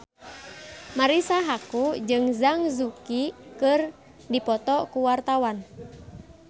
Marisa Haque jeung Zhang Yuqi keur dipoto ku wartawan